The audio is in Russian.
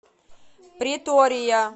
претория